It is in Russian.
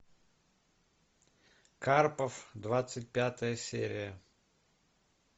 карпов двадцать пятая серия